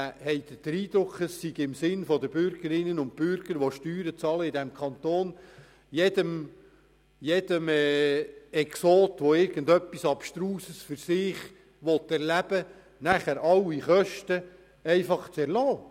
Denken Sie, es sei im Sinne der Bürgerinnen und Bürger dieses Kantons, die hier Steuern zahlen, jedem Exoten, der abstruse Erlebnisse sucht, einfach sämtliche Kosten zu erlassen?